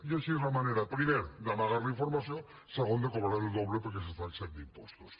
i així és la manera primer d’amagar la informació segon de cobrar el doble perquè s’està exempt d’impostos